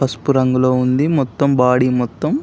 పసుపు రంగులో ఉంది మొత్తమ్ బాడీ మొత్తమ్--